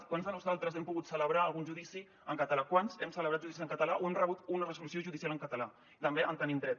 quants de nosaltres hem pogut celebrar algun judici en català quants hem celebrat judicis en català o hem rebut una resolució judicial en català també hi tenim dret